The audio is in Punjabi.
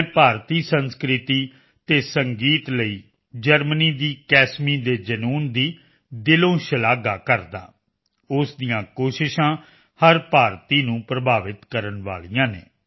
ਮੈਂ ਭਾਰਤੀ ਸੰਸਕ੍ਰਿਤੀ ਅਤੇ ਸੰਗੀਤ ਲਈ ਜਰਮਨੀ ਦੀ ਕੈਸਮੀ ਦੇ ਜਨੂੰਨ ਦੀ ਦਿਲੋਂ ਸ਼ਲਾਘਾ ਕਰਦਾ ਹਾਂ ਉਸ ਦੀਆਂ ਕੋਸ਼ਿਸ਼ਾਂ ਹਰ ਭਾਰਤੀ ਨੂੰ ਪ੍ਰਭਾਵਿਤ ਕਰਨ ਵਾਲੀਆਂ ਹਨ